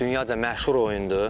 Dünyaca məşhur oyundur.